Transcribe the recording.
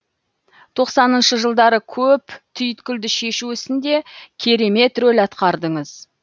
тоқсаныншы жылдары көп түйткілді шешу ісінде керемет рөл атқардыңыз